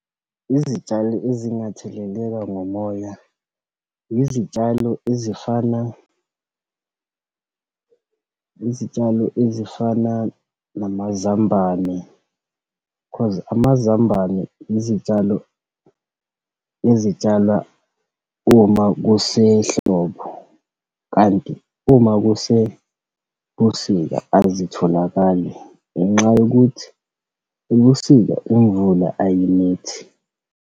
Izitshalo ezingatheleleka ngomoya, izitshalo ezifana, izitshalo ezifana namazambane cause amazambane izitshalo ezitshalwa uma kusehlobo. Kanti uma kusebusika azitholakali ngenxa yokuthi ebusika imvula ayinethi.